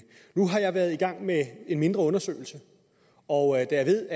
nu har jeg været i gang med en mindre undersøgelse og da jeg ved